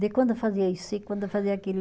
De quando fazia isso e quando fazia aquilo.